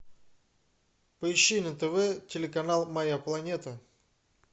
поищи на тв телеканал моя планета